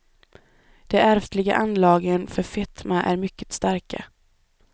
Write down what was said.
De ärftliga anlagen för fetma är mycket starka.